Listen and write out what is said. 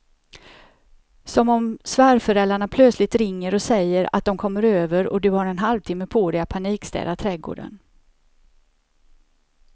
Som om svärföräldrarna plötsligt ringer och säger att de kommer över och du har en halvtimme på dig att panikstäda trädgården.